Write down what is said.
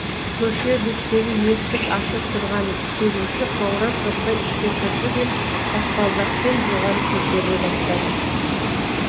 көше беттегі есік ашық тұрған келуші қоңырау соқпай ішке кірді де баспалдақпен жоғары көтеріле бастады